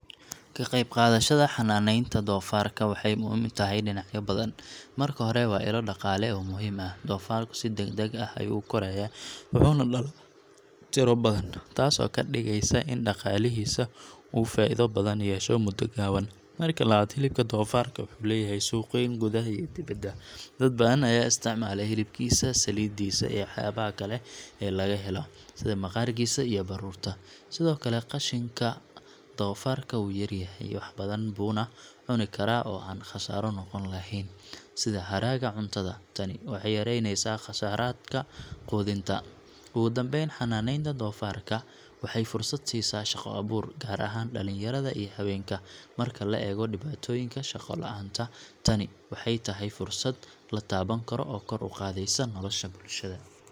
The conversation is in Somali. Ka qaybqaadashada xanaaneynta doofaarka waxay muhiim u tahay dhinacyo badan. Marka hore, waa ilo dhaqaale oo muhiim ah. Doofaarku si degdeg ah ayuu u korayaa, wuxuuna dhalaa tiro badan, taasoo ka dhigaysa in dhaqaalihiisa uu faa’iido badan yeesho muddo gaaban. Marka labaad, hilibka doofaarka wuxuu leeyahay suuq weyn, gudaha iyo dibadda. Dad badan ayaa isticmaala hilibkiisa, saliidiisa, iyo waxyaabaha kale ee laga helo, sida maqaarkiisa iyo baruurta. Sidoo kale, qashinka doofaarku wuu yar yahay, wax badan buuna cuni karaa oo aan khasaaro noqon lahayn, sida hadhaaga cuntada. Tani waxay yareyneysaa kharashaadka quudinta. Ugu dambeyn, xanaaneynta doofaarka waxay fursad siisaa shaqo-abuur, gaar ahaan dhallinyarada iyo haweenka. Marka la eego dhibaatooyinka shaqo la’aanta, tani waxay tahay fursad la taaban karo oo kor u qaadaysa nolosha bulshada.